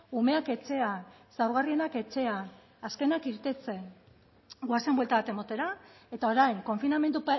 umeak etxean zaurgarrienak etxean azkenak irteten goazen buelta bat ematera eta orain konfinamendu